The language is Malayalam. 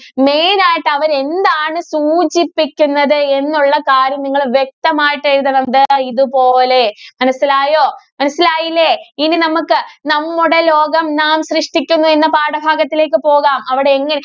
main ആയിട്ട് അവര് എന്താണ് സൂചിപ്പിക്കുന്നത് എന്നുള്ള കാര്യങ്ങള് വ്യക്തമായിട്ട് എഴുതണം ദേ ഇതുപോലെ. മനസ്സിലായോ? മനസ്സിലായില്ലേ? ഇനി നമുക്ക് നമ്മുടെ ലോകം നാം സൃഷ്ടിക്കുന്നു എന്ന പാഠഭാഗത്തിലേക്ക് പോകാം. അവിടെ എങ്ങ്